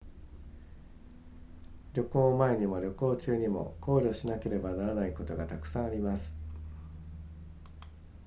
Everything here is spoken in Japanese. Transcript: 旅行前にも旅行中にも考慮しなければならないことがたくさんあります